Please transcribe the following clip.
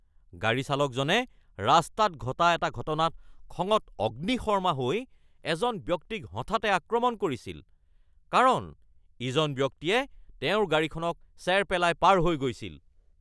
গাড়ী চালকজনে ৰাস্তাত ঘটা এটা ঘটনাত খঙত অগ্নিশৰ্মা হৈ এজন ব্যক্তিক হঠাতে আক্ৰমণ কৰিছিল কাৰণ ইজন ব্যক্তিয়ে তেওঁৰ গাড়ীখনক চেৰ পেলাই পাৰ হৈ গৈছিল।